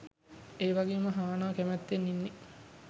එවගේම හානා කැමැත්තෙන් ඉන්න